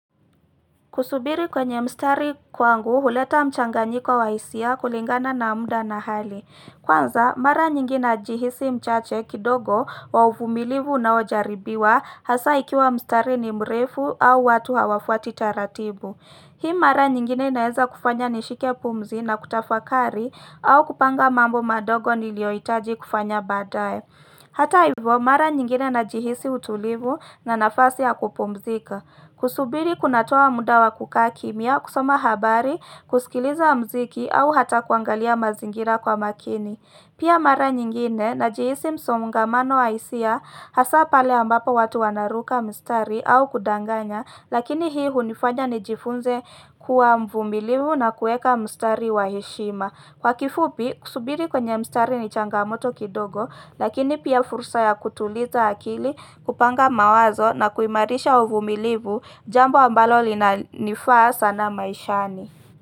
Kusubiri kwenye mstari kwangu, huleta mchanganyiko wa hisia kulingana na mda na hali. Kwanza, mara nyingi najihisi mchache kidogo wa uvumilivu unaojaribiwa hasa ikiwa mstari ni mrefu au watu hawafuati taratibu. Hii mara nyingine naeza kufanya nishike pumzi na kutafakari au kupanga mambo madogo niliyohitaji kufanya baadaye. Hata hivyo, mara nyingine najihisi utulivu na nafasi ya kupumzika. Kusubiri kunatoa mda wa kukaa kimya, kusoma habari, kusikiliza mziki au hata kuangalia mazingira kwa makini. Pia mara nyingine najihisi msongamano wa hisia hasa pale ambapo watu wanaruka mstari au kudanganya lakini hii hunifanya nijifunze kuwa mvumilimu na kueka mstari wa heshima. Kwa kifupi, kusubiri kwenye mstari ni changamoto kidogo, lakini pia fursa ya kutuliza akili, kupanga mawazo na kuimarisha uvumilivu, jambo ambalo linanifaa sana maishani.